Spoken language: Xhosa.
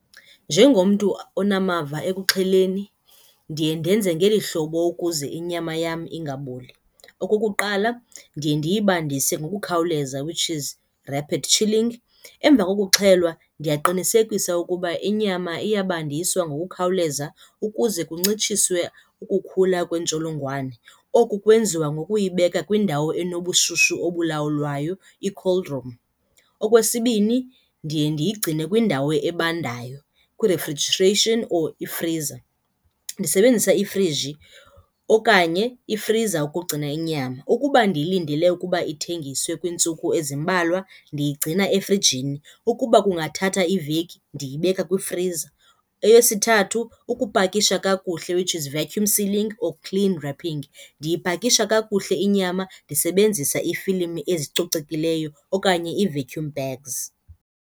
Njengomntu onamava ekuxheleni ndiye ndenze ngeli hlobo ukuze inyama yam ingaboli. Okokuqala, ndiye ndiyibandise ngokukhawuleza, which is rapid chilling. Emva kokuxhelwa ndiyaqinisekisa ukuba inyama iyabandiswa ngokukhawuleza ukuze kuncitshiswe ukukhula kweentsholongwane. Oku kwenziwa ngokuyibeka kwindawo enobushushu obulawulwayo, i-cold room. Okwesibini, ndiye ndiyigcine kwindawo ebandayo, kwi-refrigeration or ifriza ndisebenzisa ifriji okanye ifriza ukugcina inyama. Ukuba ndiyilindele ukuba ithengiswe kwiintsuku ezimbalwa ndiyigcina efrijini. Ukuba kungathatha iveki, ndiyibeka kwifriza. Eyesithathu, ukupakisha kakuhle, which is vacuum sealing or cling wrapping. Ndiyipakisha kakuhle inyama ndisebenzisa iifilimu ezicocekileyo okanye ii-vacuum bags.